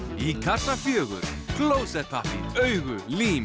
í kassa fjórum klósettpappír augu lím